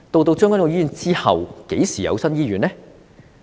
在將軍澳醫院之後，何時有新醫院呢？